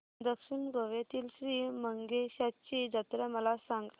दक्षिण गोव्यातील श्री मंगेशाची जत्रा मला सांग